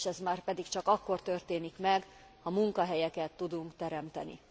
És ez márpedig csak akkor történik meg, ha munkahelyeket tudunk teremteni.